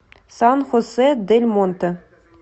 сан хосе дель монте